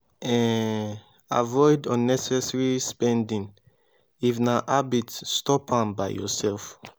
um avoid unnessesary spending if na habit stop am by yourself